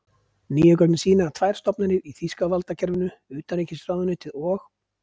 Nýju gögnin sýna, að tvær stofnanir í þýska valdakerfinu, utanríkisráðuneytið og